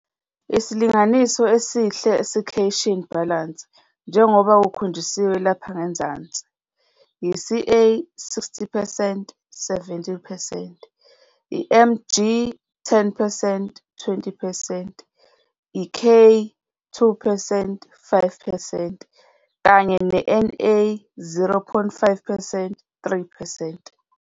Isilinganiso esihle secation balance njengoba kukhonjisiwe lapha ngezansi yi-Ca- 60 percent 70 percent, i-Mg- 10 percent 20 percent, i-K- 2 percent 5 percent kanye ne-Na- 0,5 percent 3 percent.